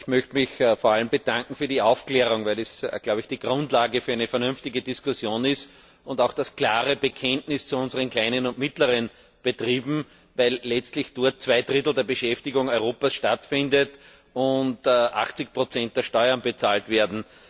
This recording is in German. Ich möchte mich vor allem für die Aufklärung bedanken, weil das die Grundlage für eine vernünftige Diskussion ist und auch ein klares Bekenntnis zu unseren kleinen und mittleren Betrieben, weil letztlich dort zwei Drittel der Beschäftigung Europas stattfinden und 80 der Steuern bezahlt werden.